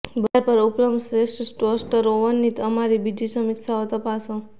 બજાર પર ઉપલબ્ધ શ્રેષ્ઠ ટોસ્ટર ઓવનની અમારી બીજી સમીક્ષાઓ તપાસો